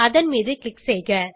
அதன் மீது க்ளிக் செய்க